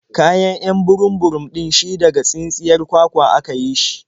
Kayan 'yan burum-burum ɗin shi daga tsintsiyar kwakwa a ka yi shi.